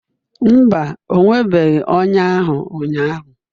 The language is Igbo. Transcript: Mba, o nwebeghị ọnya ahụ ụnyahụ